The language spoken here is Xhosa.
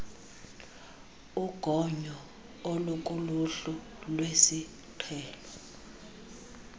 ugonyo olukuluhlu lwesiqhelo